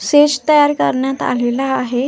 Stage तयार करण्यात आलेल आहे.